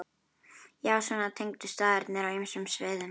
Já, svona tengdust staðirnir á ýmsum sviðum.